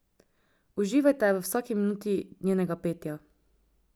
Uživajte v vsaki minuti njenega petja!